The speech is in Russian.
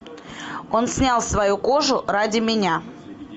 он снял свою кожу ради меня